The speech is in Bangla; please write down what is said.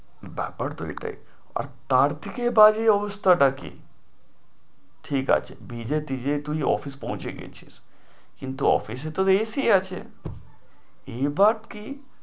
ব্যাপার তো এটাই আর তার থেকে বাজে অবস্থাটা কি? ঠিক আছে, ভিজে টিজে তুই office এ পৌছে গেছিস, কিন্তু office এ তো AC আছে এবার কি